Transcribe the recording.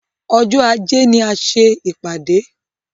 Ọjọ́ ajé ni a ṣé.